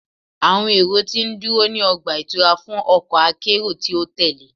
Awọn ero ti nduro ni ọgba-itura fun ọkọ akero ti o tẹle